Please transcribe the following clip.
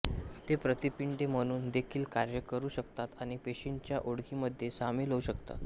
ते प्रतिपिंडे म्हणून देखील कार्य करू शकतात आणि पेशींच्या ओळखीमध्ये सामील होऊ शकतात